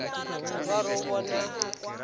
o ka re o bona